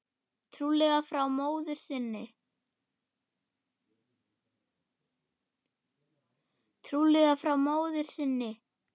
Trúlega frá móður sinni.